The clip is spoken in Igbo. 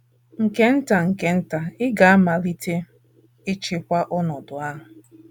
Nke nta nke nta, ị ga - amalite ịchịkwa ọnọdụ ahụ.